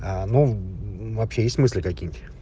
а ну вообще есть смысле какие то